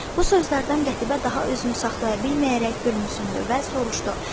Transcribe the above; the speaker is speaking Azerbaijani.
Bu sözlərdən Qətibə daha özünü saxlaya bilməyərək gülümsündü və soruşdu: